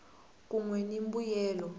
kun we ni mimbuyelo